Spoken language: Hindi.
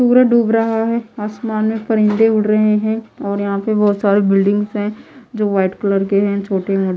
सूरज डूब रहा है आसमान में परिंदे उड़ रहे है और यहां पे बहोत सारे बिल्डिंग्स हैं जो व्हाईट कलर के है छोटे मो--